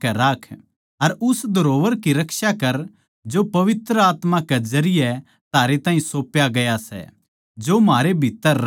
अर उस धरोहर की रक्षा करै जो पवित्र आत्मा कै जरिये थारे ताहीं सौप्या गया सै जो म्हारै भित्तर रहवै सै